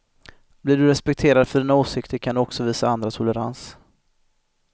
Blir du respekterad för dina åsikter kan du också visa andra tolerans.